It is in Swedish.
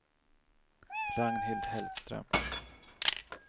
Ragnhild Hellström